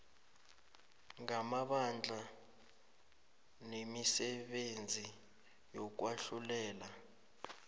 ngamabandla nemisebenzi yokwahlulela